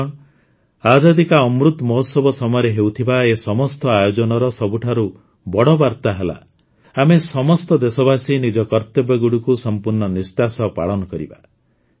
ବନ୍ଧୁଗଣ ଆଜାଦୀ କା ଅମୃତ ମହୋତ୍ସବ ସମୟରେ ହେଉଥିବା ଏ ସମସ୍ତ ଆୟୋଜନର ସବୁଠାରୁ ବଡ଼ ବାର୍ତ୍ତା ହେଲା ଆମେ ସମସ୍ତ ଦେଶବାସୀ ନିଜ କର୍ତ୍ତବ୍ୟଗୁଡ଼ିକୁ ସମ୍ପୂର୍ଣ୍ଣ ନିଷ୍ଠା ସହ ପାଳନ କରିବା